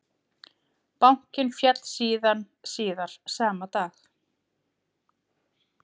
Bankinn féll síðan síðar sama dag